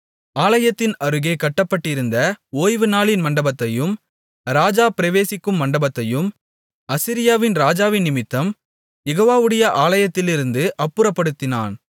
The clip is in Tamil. ஆலயத்தின் அருகே கட்டப்பட்டிருந்த ஓய்வுநாளின் மண்டபத்தையும் ராஜா பிரவேசிக்கும் மண்டபத்தையும் அசீரியாவின் ராஜாவினிமித்தம் யெகோவாவுடைய ஆலயத்திலிருந்து அப்புறப்படுத்தினான்